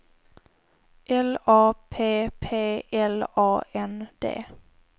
L A P P L A N D